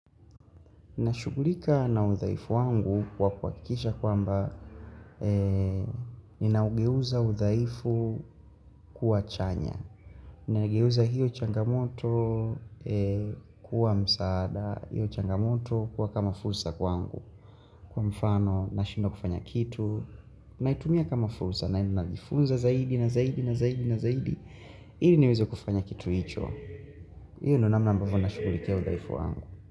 Nashughulika na udhaifu wangu kwa kuhakikisha kwamba ninaugeuza udhaifu kuwa chanya. Ninaugeuza hiyo changamoto kuwa msaada, hiyo changamoto kuwa kama fursa kwangu. Kwa mfano, nashindwa kufanya kitu, naitumia kama fursa, naenda najifunza zaidi, na zaidi, na zaidi, na zaidi. Ili niweze kufanya kitu hicho. Iyo ndo namna ambavyo nashughulikia udhaifu wangu.